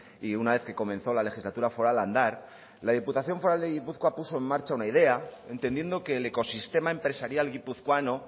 y una vez que comenzó la legislatura foral a andar la diputación foral de gipuzkoa puso en marcha una idea entendiendo que el ecosistema empresarial guipuzcoano